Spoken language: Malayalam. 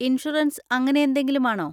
ഇൻഷുറൻസ് അങ്ങനെയെന്തെങ്കിലും ആണോ?